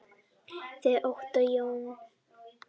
Þinn Ottó Jón.